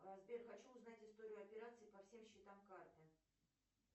сбер хочу узнать историю операций по всем счетам карты